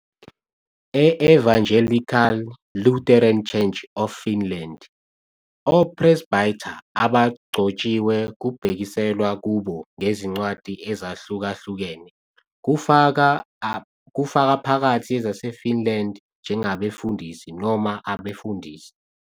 E-Evangelical Lutheran Church of Finland, o-presbyter abagcotshiwe kubhekiselwa kubo ngezincwadi ezahlukahlukene, kufaka phakathi ezaseFinland, njengabefundisi, noma abefundisi.